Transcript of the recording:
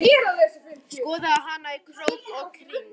Skoðaði hana í krók og kring.